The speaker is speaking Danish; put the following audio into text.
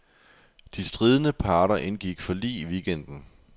De stridende parter indgik forlig i weekenden.